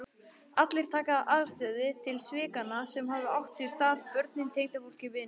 Allir taka afstöðu til svikanna sem hafa átt sér stað, börnin, tengdafólkið, vinirnir.